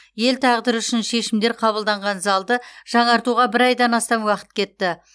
ел тағдыры үшін шешімдер қабылданған залды жаңартуға бір айдан астам уақыт кетті